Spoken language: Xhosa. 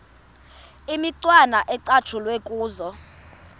imicwana ecatshulwe kuzo